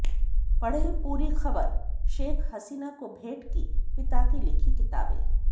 पढ़ें पूरी खबरः शेख हसीना को भेंट की पिता की लिखी किताबें